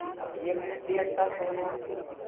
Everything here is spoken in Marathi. आता एक मिनिट एक तास होऊन वाटतो